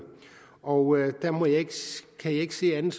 og jeg kan ikke se andet